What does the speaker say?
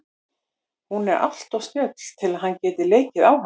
Hún er alltof snjöll til að hann geti leikið á hana.